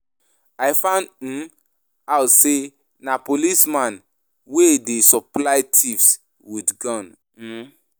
I find um out say na policemen wey dey supply thieves with gun. um